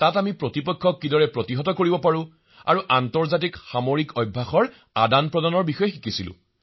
তাত আমি কম্বেট শিক্ষা আৰু আন্তঃৰাষ্ট্ৰীয় মিলিটেৰী অভ্যাসৰ এক বিনিময় শিকিলো